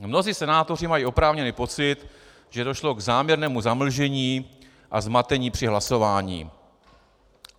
Mnozí senátoři mají oprávněný pocit, že došlo k záměrnému zamlžení a zmatení při hlasování.